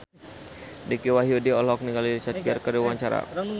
Dicky Wahyudi olohok ningali Richard Gere keur diwawancara